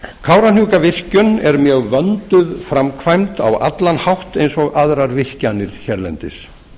kárahnjúkavirkjun er mjög vönduð framkvæmd á allan hátt eins og aðrar virkjanir hérlendis